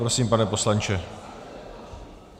Prosím, pane poslanče.